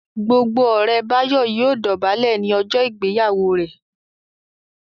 Gbogbo ore Bayo yíò dobale ní ojó ìgbéyàwó rẹ.